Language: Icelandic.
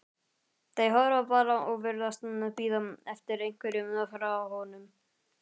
Þau horfa bara og virðast bíða eftir einhverju frá honum.